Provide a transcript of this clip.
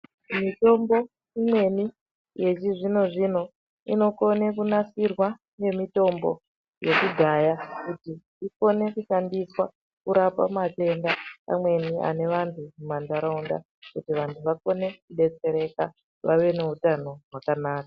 Mitombo imweni yechizvino-zvino inokone kunasirwa nemitombo yekudhaya kuti ikone kushandiswa kurapa matenda amweni anevantu mumantaraunda kuti vantu vakone kudetsereka, vave neutano hwakanaka.